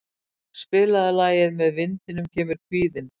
Aage, spilaðu lagið „Með vindinum kemur kvíðinn“.